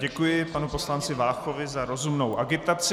Děkuji panu poslanci Váchovi za rozumnou agitaci.